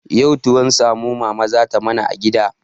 Yau tuwon samo mama za ta mana a gida.